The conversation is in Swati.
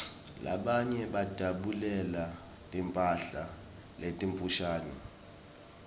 labanye bajabulela timphala letimfushane